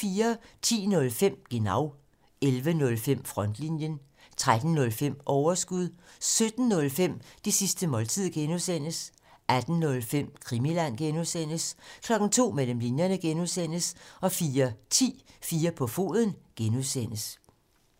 10:05: Genau 11:05: Frontlinjen 13:05: Overskud 17:05: Det sidste måltid (G) 18:05: Krimiland (G) 02:00: Mellem linjerne (G) 04:10: 4 på foden (G)